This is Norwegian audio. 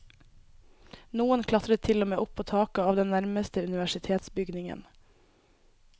Noen klatret til og med opp på taket av den nærmeste universitetsbygningen.